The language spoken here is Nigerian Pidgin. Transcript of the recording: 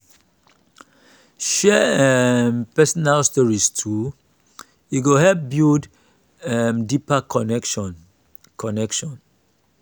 share um personal stories too e go help build um deeper connection. connection.